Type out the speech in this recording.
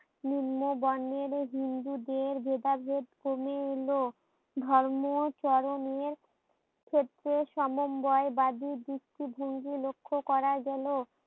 নিম্ন বর্ণের হিন্দুদের ভেদাভেদ কমে এলো। ধর্ম চরমের ক্ষেত্রে সমবায় বাদী দৃষ্টি ভঙ্গি লক্ষ্য করা গেলো